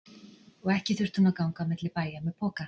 Og ekki þurfti hún að ganga á milli bæja með poka.